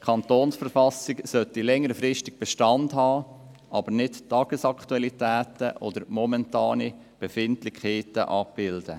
Die Kantonsverfassung soll längerfristig Bestand haben, aber nicht Tagesaktualitäten oder momentane Befindlichkeiten abbilden.